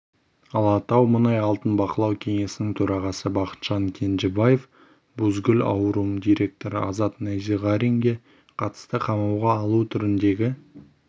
алатаумұнайалтын бақылау кеңесінің төрағасы бақытжан кенжебаев бузгул аурум директоры азат найзағаринге қатысты қамауға алу түріндегі